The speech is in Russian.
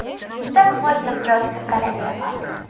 то можно просто королева